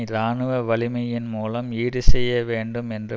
இராணுவ வலிமையின் மூலம் ஈடு செய்ய வேண்டும் என்று